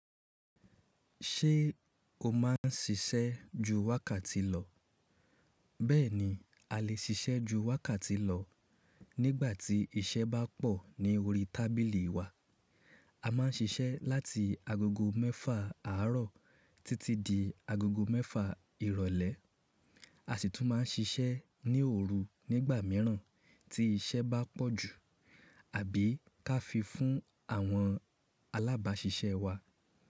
Ṣé o má ń siṣẹ́ ju wákàtí lọ? Bẹ́ẹ̀ni, a lè siṣẹ́ ju wákàtí lọ nígbà tí iṣẹ́ bá pọ̀ ní orí tábìlì wa. A má ń siṣẹ́ láti agogo mẹ́fà àárọ̀ títí di agogo mẹ́fa ìrọ̀lẹ́. A sì tún ma ń siṣẹ́ ní òru nígbà míràn tí iṣẹ́ bá pọ̀ jù àbí ká fi fún àwọn alábàáṣiṣẹ́ wa.